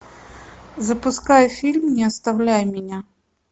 запускай фильм не оставляй меня